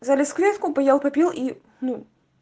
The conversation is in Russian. залез в клетку поел попил и ну